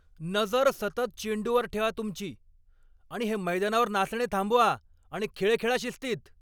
नजर सतत चेंडूवर ठेवा तुमची! आणि हे मैदानावर नाचणे थांबवा आणि खेळ खेळा शिस्तीत.